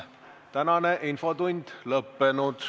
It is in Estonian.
Tänane infotund on lõppenud.